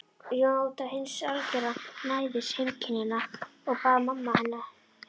Njóta hins algera næðis heimkynnanna og bara mamma heima.